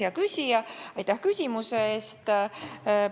Hea küsija, aitäh küsimuse eest!